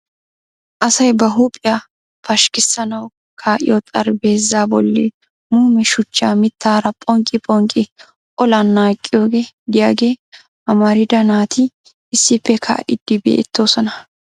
Asay ba huuphiyaa pashkkissanawu kaa'iyo xaraphpheezza bolli muume shuchchaa mittaara phonqqi phonqqi ollan naaqqiyoogee de'iyaaga amarida naati issippe kaa'idi beettoosona.